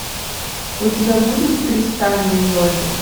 у тебя будет тристан и изольда